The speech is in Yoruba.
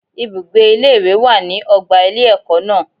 Ibùgbé ilé ìwé wà nínu ọgbà ilé ẹ̀kọ́ náà.